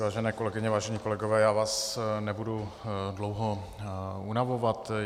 Vážené kolegyně, vážení kolegové, já vás nebudu dlouho unavovat.